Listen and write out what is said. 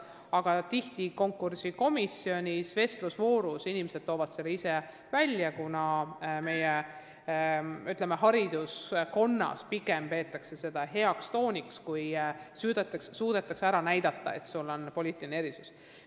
Tihti toovad inimesed konkursikomisjoni vestlusvoorus selle ise välja, kuna meie hariduskeskkonnas peetakse seda pigem heaks tooniks, kui suudetakse näidata oma poliitilist erisust.